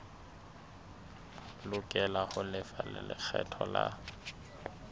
lokela ho lefa lekgetho la